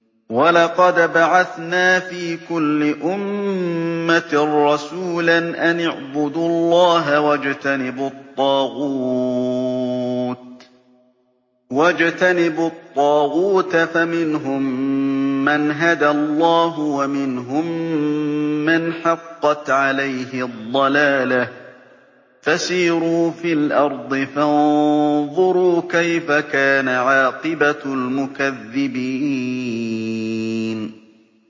وَلَقَدْ بَعَثْنَا فِي كُلِّ أُمَّةٍ رَّسُولًا أَنِ اعْبُدُوا اللَّهَ وَاجْتَنِبُوا الطَّاغُوتَ ۖ فَمِنْهُم مَّنْ هَدَى اللَّهُ وَمِنْهُم مَّنْ حَقَّتْ عَلَيْهِ الضَّلَالَةُ ۚ فَسِيرُوا فِي الْأَرْضِ فَانظُرُوا كَيْفَ كَانَ عَاقِبَةُ الْمُكَذِّبِينَ